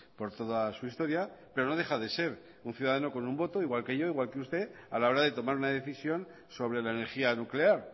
por toda su historia pero no deja de ser un ciudadano con un voto igual que yo e igual que usted a la hora de tomar una decisión sobre la energía nuclear